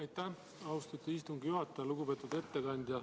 Aitäh, austatud istungi juhataja!